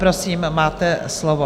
Prosím, máte slovo.